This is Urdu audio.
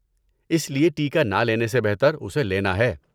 اس لیے ٹیکہ نہ لینے سے بہتر اسے لینا ہے۔